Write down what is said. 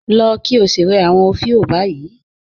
Lọ̀ kí ó sí rẹ̀ awọn ofíò báyì